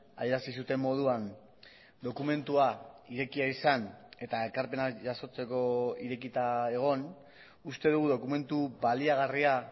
adierazi zuten moduan dokumentua irekia izan eta ekarpenak jasotzeko irekita egon uste dugu dokumentu baliagarria